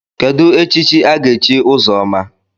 Kedụ echichi aga-echi Ụzọma?